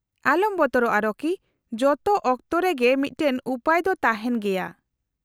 -ᱟᱞᱚᱢ ᱵᱚᱛᱚᱨᱚᱜᱼᱟ ᱨᱚᱠᱤ ᱾ ᱡᱚᱛᱚ ᱚᱠᱛᱚ ᱨᱮᱜᱮ ᱢᱤᱫᱴᱟᱝ ᱩᱯᱟᱹᱭ ᱫᱚ ᱛᱟᱦᱮᱱ ᱜᱮᱭᱟ ᱾